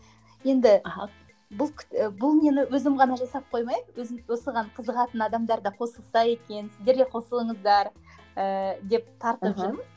енді бұл бұл нені өзім ғана жасап қоймаймын өзім осыған қызығатын адамдар да қосылса екен сіздер де қосылыңыздар ыыы деп тартып жүрмін